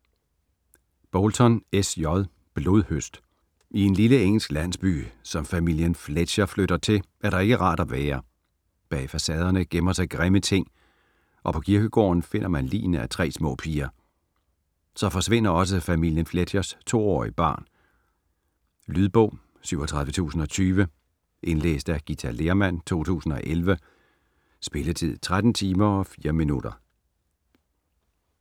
Bolton, S. J.: Blodhøst I en lille engelsk landsby, som familien Fletcher flytter til, er der ikke rart at være. Bag facaderne gemmer sig grimme ting, og på kirkegården finder man ligene af tre små piger. Så forsvinder også familien Fletchers to-årige barn. Lydbog 37020 Indlæst af Githa Lehrmann, 2011. Spilletid: 13 timer, 4 minutter.